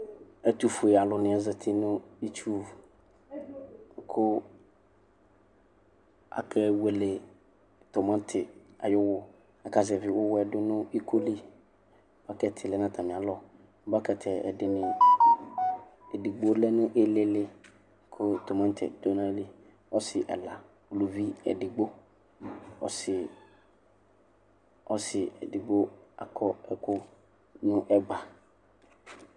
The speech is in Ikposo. Ɛtufue alu ni zati nʋ itsuwuKʋ akewele timati ayʋ uwuAkazɛvi uwuɛ dunu ikoliBakɛti lɛ natamialɔ bakɛtiɛ, ɛdini , edigbo lɛ nʋ ilili, kʋ timatiɛ dʋ ayili Ɔsi ɛla , uluvi edigboƆsi, ɔsi edigbo akɔ ɛkʋ nɛgba